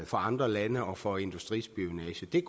for andre lande og for industrispionage det er